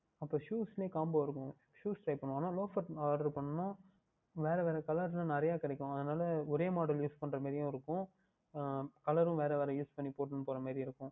அப்பொழுது Shoes லேயே Combo இருக்கும் shoe கேட்கவேண்டும் ஆனால் Loafer யில் Oder பண்ணினால் வேறு வேறு Colour யில் நிறைய கிடைக்கும் அதனால் ஒரே Model Use பன்னுகின்ற மாதிரி இருக்கும் அஹ் Colour வேறு வேறு Use பண்ணி போட்டுகொண்டு போகின்ற மாதிரி இருக்கும்